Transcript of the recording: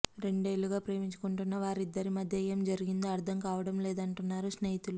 రెండేళ్ళుగా ప్రేమించుకొంటున్న వారిద్దరి మధ్య ఏం జరిగిందో అర్ధం కావడం లేదంటున్నారు స్నేహితులు